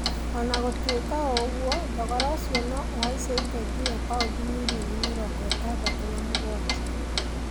ona gũtũĩka ũgũo thogora ũcio no ũhaice ginya paundi mirioni mĩrongo ĩtandatũ na mũgwaja.